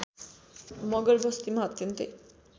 मगर बस्तीमा अत्यन्तै